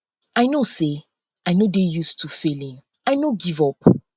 i no say i no dey use to failing i no give up